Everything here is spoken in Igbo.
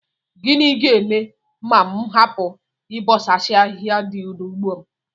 Gịnị ga-eme ma m hapụ ịbọchasị ahịhịa dị n'ugbo m